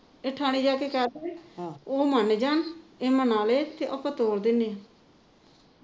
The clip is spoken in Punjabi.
ਇਹ ਥਾਣੇ ਜਾ ਕੇ ਕਹਿ ਦੇਵੇ ਉਹ ਮੰਨ ਜਾਣ ਉਹ ਮਨਾ ਲੈ ਤੇ ਆਪਾ ਤੋਰ ਦਿੰਦੇ ਹਾਂ